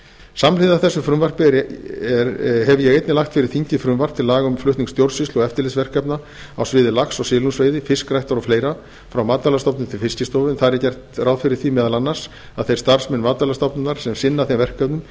samhliða þessu frumvarpi hef ég einnig lagt fyrir þingið frumvarp til laga um flutning stjórnsýslu og eftirlitsverkefna á sviði lax og silungsveiði fiskræktar og fleira frá matvælastofnun til fiskistofu en þar er gert ráð fyrir því meðal annars að þeir starfsmenn matvælastofnunar sem sinna þeim verkefnum